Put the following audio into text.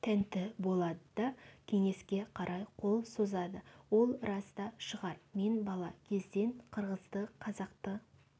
тәнті болады да кеңеске қарай қол созады ол рас та шығар мен бала кезден қырғызды қазақты